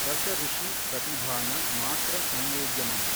ರಸಋಷಿ ಪ್ರತಿಭಾನ ಮಾತ್ರ ಸಂವೇದ್ಯಮಂ.